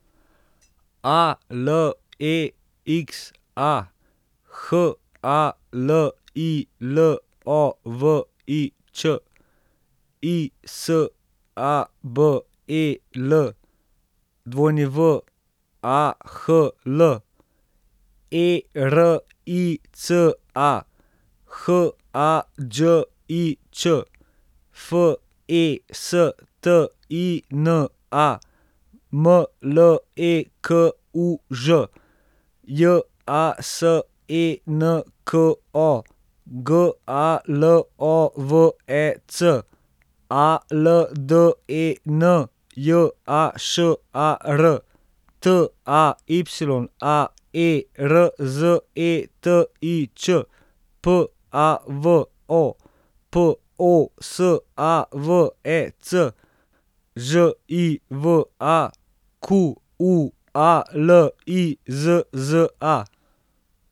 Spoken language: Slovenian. A L E X A, H A L I L O V I Ć; I S A B E L, W A H L; E R I C A, H A Đ I Ć; F E S T I N A, M L E K U Ž; J A S E N K O, G A L O V E C; A L D E N, J A Š A R; T A Y A, E R Z E T I Č; P A V O, P O S A V E C; Ž I V A, Q U A L I Z Z A.